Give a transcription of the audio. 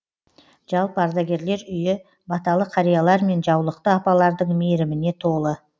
жалпы ардагерлер үйі баталы қариялар мен жаулықты апалардың мейіріміне толы